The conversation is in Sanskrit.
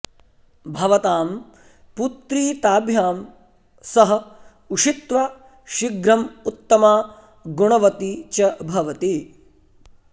भवतां पुत्री ताभ्यां सह उषित्वा शिघ्रम् उत्तमा गुणवती च भवति